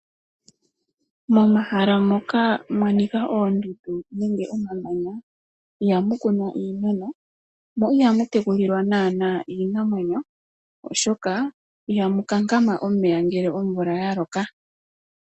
Momahala moka mwanika oondundu nenge omamanya iha mu kunwa iimeno mo iha mu tekulilwa naanaa iinamwenyo oshoka iha mu kankama omeya ngele omvula ya loka.